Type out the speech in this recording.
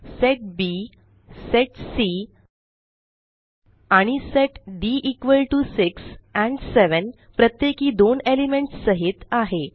set B set C आणि set D equal to 6 and 7 प्रत्येकी दोन एलिमेंट्स सहित आहे